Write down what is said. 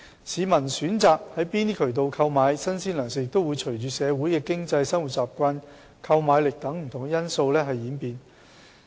市民選擇從哪些渠道購買新鮮糧食亦會隨着社會經濟、生活習慣和購買力等不同因素演變。